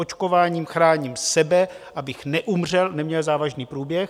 Očkováním chráním sebe, abych neumřel, neměl závažný průběh.